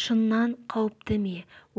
шыннан қауіпті ме